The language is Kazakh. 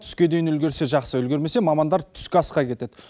түске дейін үлгерсе жақсы үлгермесе мамандар түскі асқа кетеді